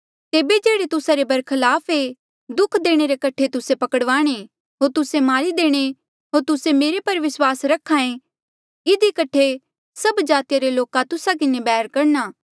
तेबे जेह्ड़े तुस्सा रे बरखलाप एे दुःख देणे रे कठे तुस्से पकड़वाणे होर तुस्से मारी देणे होर तुस्से मेरे पर विस्वास रख्हा ऐें इधी कठे सभी जातिया रे लोका तुस्सा किन्हें बैर करणा